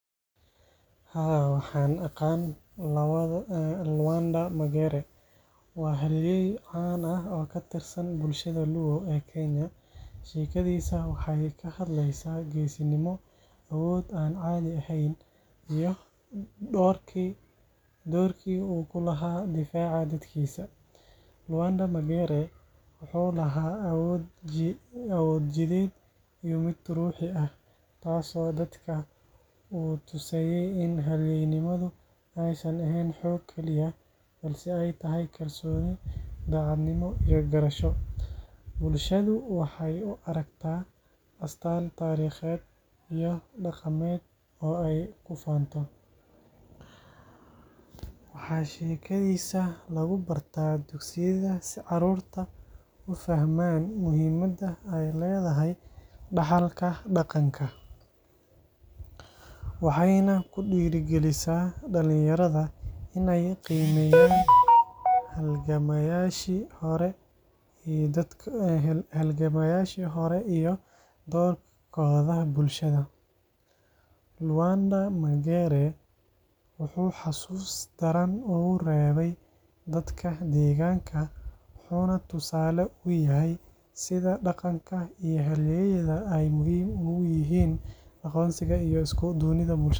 Haa, waxaan aqaan Lwanda Magere. Waa halyeey caan ah oo ka tirsan bulshada Luo ee Kenya. Sheekadiisa waxay ka hadlaysaa geesinimo, awood aan caadi ahayn, iyo doorkii uu ku lahaa difaaca dadkiisa. Lwanda Magere wuxuu lahaa awood jidheed iyo mid ruuxi ah, taasoo dadka u tusaysay in halyeynimadu aysan ahayn xoog keliya, balse ay tahay kalsooni, daacadnimo iyo garasho. Bulshadu waxay u aragtaa astaan taariikheed iyo dhaqameed oo ay ku faanto. Waxaa sheekadiisa lagu barta dugsiyada si carruurtu u fahmaan muhiimadda ay leedahay dhaxalka dhaqanka. Waxayna ku dhiirrigelisaa dhalinyarada in ay qiimeeyaan halgamayaashii hore iyo doorkooda bulshada. Lwanda Magere wuxuu xasuus daran ugu reebay dadka deegaanka, wuxuuna tusaale u yahay sida dhaqanka iyo halyeeyada ay muhiim ugu yihiin aqoonsiga iyo isku duubnida bulshada.